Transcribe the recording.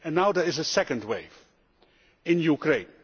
And now there is a second wave, in Ukraine.